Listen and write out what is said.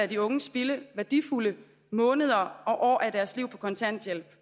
de unge spilde værdifulde måneder og år af deres liv på kontanthjælp